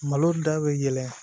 Malo da bɛ yɛlɛn